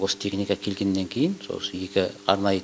осы техника келгеннен кейін сол осы екі арнайы